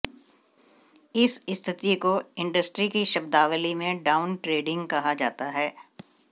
इस स्थिति को इंडस्ट्री की शब्दावली में डाउन ट्रेडिंग कहा जाता है